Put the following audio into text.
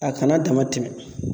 A kana dama tɛmɛ